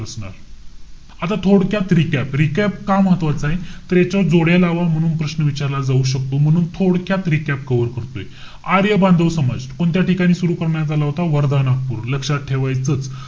आता थोडक्यात recap. Recap का महत्वाचाय, तर याच्यावर जोड्या लावा म्हणून प्रश्न विचारला जाऊ शकतो. म्हणून थोडक्यात recap cover करतोय. आर्य बांधव समाज, कोणत्या ठिकाणी सुरु करण्यात आला होता? वर्धा, नागपूर. लक्षात ठेवायचंच.